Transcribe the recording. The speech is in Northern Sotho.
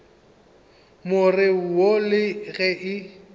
more wo le ge e